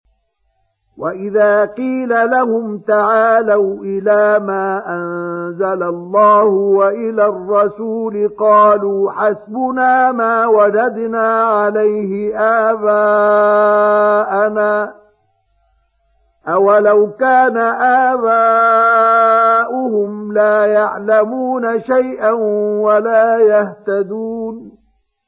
وَإِذَا قِيلَ لَهُمْ تَعَالَوْا إِلَىٰ مَا أَنزَلَ اللَّهُ وَإِلَى الرَّسُولِ قَالُوا حَسْبُنَا مَا وَجَدْنَا عَلَيْهِ آبَاءَنَا ۚ أَوَلَوْ كَانَ آبَاؤُهُمْ لَا يَعْلَمُونَ شَيْئًا وَلَا يَهْتَدُونَ